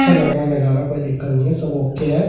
अच्छा लग रहा है नजारा कोई दिक्कत नहीं है सब ओके है ।